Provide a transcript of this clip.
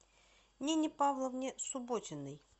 нине павловне субботиной